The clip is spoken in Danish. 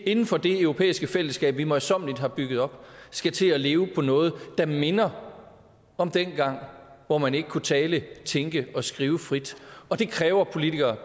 inden for det europæiske fællesskab vi møjsommeligt har bygget op skal til at leve i noget der minder om dengang hvor man ikke kunne tale tænke og skrive frit og det kræver politikere